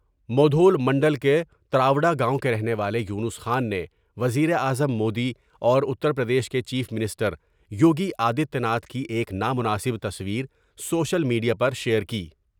مودھول منڈل کے تر وڈا گاؤں کے رہنے والے یونس خان نے وزیراعظم مودی اور اتر پردیش کے chief minister Yogi Adityanath کی ایک نا مناسب تصویر سوشل میڈ یا پرشیئر کی ۔